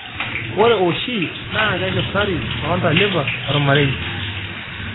ore oshi na keshurtari too ntalipa oormarei